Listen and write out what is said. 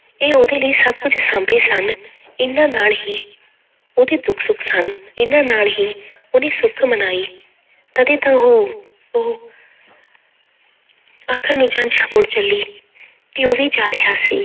ਇਹ ਉਹਦੇ ਲਈ ਸਭ ਕੁੱਝ ਸਾਂਭੇ ਸਨ, ਇਹਨਾਂ ਨਾਲ ਹੀ ਉਹਦੇ ਦੁੱਖ ਸੁੱਖ ਸਨ, ਇਹਨਾਂ ਨਾਲ ਹੀ ਉਹਨੇ ਸੁੱਖ ਮਨਾਈ ਤਦੇ ਤਾਂ ਉਹ, ਉਹ ਆਖਰ ਨੂੰ ਜੰਞ ਮੁੜ ਚੱਲੀ ਤੇ ਉਹ ਵੀ ਜਾ ਰਿਹਾ ਸੀ,